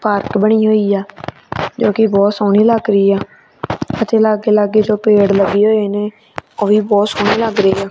Park ਬਣੀ ਹੋਈ ਆ ਜੋ ਕਿ ਬਹੁਤ ਸੋਹਣੀ ਲੱਗ ਰਹੀ ਆ ਤੇ ਲਾਗੇ ਲਾਗੇ ਜੋ ਪੇੜ ਲੱਗੀ ਹੋਏ ਨੇ ਉਹ ਵੀ ਬਹੁਤ ਸੋਹਣੇ ਲੱਗ ਰਹੇ ਆ।